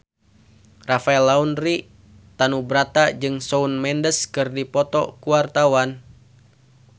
Rafael Landry Tanubrata jeung Shawn Mendes keur dipoto ku wartawan